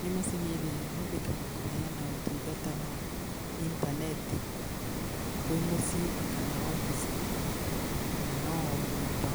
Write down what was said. Nĩ macini ĩrĩa ĩhũthĩkaga kũheana ũtungata wa itaneti, kwĩ mũciĩ kana wobici kana o nyũmba